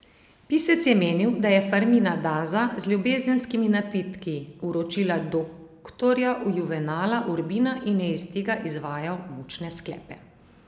Pisec je menil, da je Fermina Daza z ljubezenskimi napitki uročila doktorja Juvenala Urbina in je iz tega izvajal mučne sklepe.